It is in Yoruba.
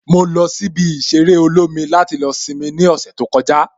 Mo lọ sí ibi ìṣeré olómi láti lọ simi ní ọ̀sẹ̀ tó kọjá